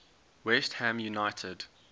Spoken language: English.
west ham united